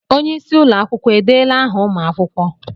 Onye isi ụlọ akwụkwọ edeela áhà ụmụ akwụkwọ?